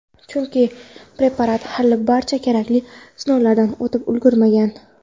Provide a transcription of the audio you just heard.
Chunki preparat hali barcha kerakli sinovlardan o‘tib ulgurmagan.